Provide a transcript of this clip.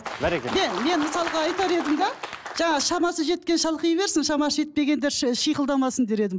жаңа шамасы жеткен шалқи берсін шамасы жетпегендер шиқылдамасын дер едім